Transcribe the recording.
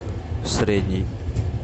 средний